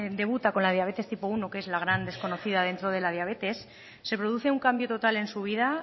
debuta con la diabetes tipo primero que es la gran desconocida dentro de la diabetes se produce un cambio total en su vida